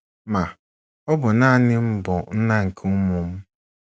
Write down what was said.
Ma, ọ bụ nanị m bụ nna nke ụmụ m.